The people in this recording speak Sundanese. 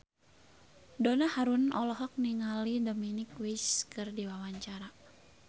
Donna Harun olohok ningali Dominic West keur diwawancara